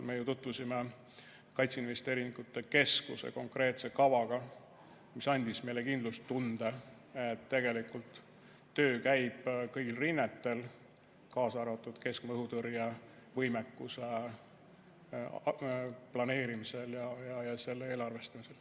Me tutvusime kaitseinvesteeringute keskuse konkreetse kavaga, mis andis meile kindlustunde, et tegelikult töö käib kõigil rinnetel, kaasa arvatud keskmaa õhutõrje võimekuse planeerimisel ja selle eelarvestamisel.